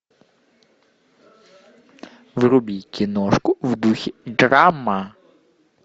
вруби киношку в духе драма